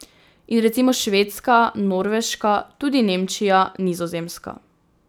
In recimo Švedska, Norveška, tudi Nemčija, Nizozemska...